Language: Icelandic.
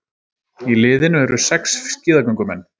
Í liðinu eru sex skíðagöngumenn